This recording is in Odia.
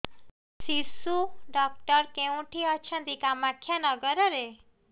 ଶିଶୁ ଡକ୍ଟର କୋଉଠି ଅଛନ୍ତି କାମାକ୍ଷାନଗରରେ